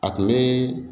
A tun bɛ